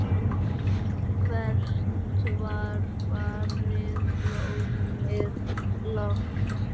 Hvert var farið blómið blátt?